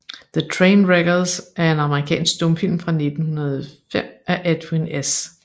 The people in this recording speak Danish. The Train Wreckers er en amerikansk stumfilm fra 1905 af Edwin S